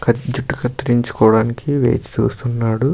ఇక్కడ జుట్టు కత్తిరించుకోవడానికి వేచి చూస్తున్నాడు.